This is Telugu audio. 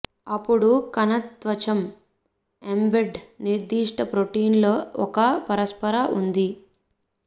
అప్పుడు కణ త్వచం ఎంబెడ్ నిర్దిష్ట ప్రోటీన్ల ఒక పరస్పర ఉంది